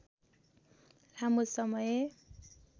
लामो समय